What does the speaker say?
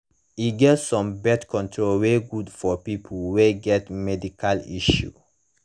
e get some birth control wey good for people wey get medical issues